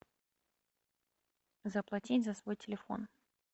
заплатить за свой телефон